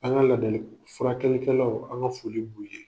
An ka ladala furakɛli kɛlaw an ka foli b'u ye.